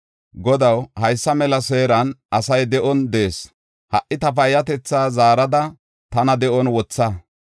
Godaw, haysa mela seeran asay de7on de7ees. Ha77i ta payyatetha zaarada, tana de7on wotha!